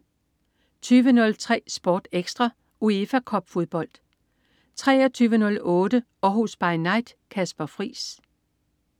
20.03 SportEkstra: UEFA Cup-fodbold 23.08 Århus By Night. Kasper Friis